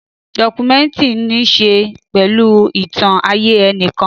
Dọ́kúmẹ̀ntìrì ní ṣe pẹ̀lú ìtàn ayé enìkan